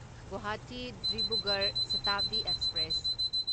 Guwahati Dibrugarh Shatabdi express